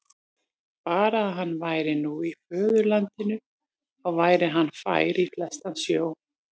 Bara að hann væri nú í föðurlandinu, þá væri hann fær í flestan sjó.